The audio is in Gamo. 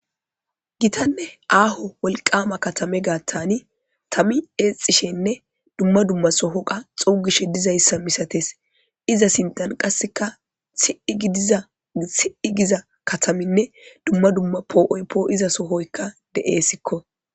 gitanne aaho wolqama katame gaattani tami eexishenne dumma dumma soho qa xuugishe dizayssa misates iza sindan qasseka i idiza si7i giza kataminne dumma dumma poo7oy poo iza sohoykka de7eessikko